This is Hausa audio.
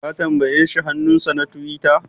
Ka tambaye shi hannunsa na tiwita?